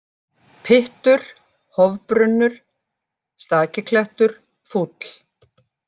Pyttur, Hofbrunnur, Stakiklettur, Fúll